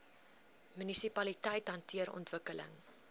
munisipaliteite hanteer ontwikkeling